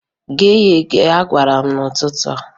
"Ghee ya eghe!" a gwara m ya n'ụtụtụ.